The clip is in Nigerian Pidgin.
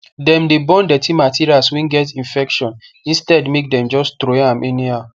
dem dey burn dirty materials wey get infection instead make dem just throway am anyhow